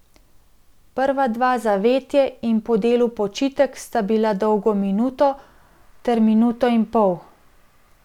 Prva dva Zavetje in Po delu počitek sta bila dolga minuto ter minuto in pol.